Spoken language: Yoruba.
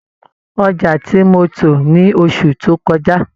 Ọjà tí mo tò ni oṣù tó kọjá